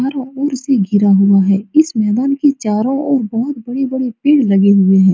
चारो ओर से घिरा हुआ है इस मैदान के चारो ओर बहुत बड़े-बड़े पेड़ लगे हुए है।